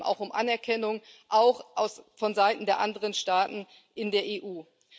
Es geht eben auch um Anerkennung, auch von Seiten der anderen Staaten in der EU.